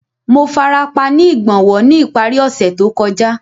Mo farapa ni igbonwo ni ipari ose to kọja.